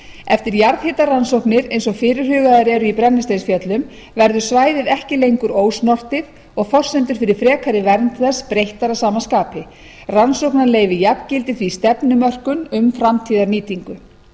eftir jarðhitarannsóknir eins og fyrirhugaðar eru í brennisteinsfjöllum verður svæðið ekki lengur ósnortið og forsendur fyrir frekari vernd þess breyttar að sama skapi rannsóknaleyfi jafngildir því stefnumörkun um framtíðarnýtingu um